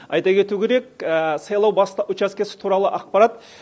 айта кету керек сайлау учаскесі туралы ақпарат